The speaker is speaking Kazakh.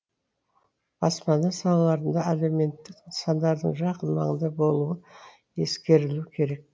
баспана салаларында әлеуметтік нысандардың жақын маңда болуы ескерілуі керек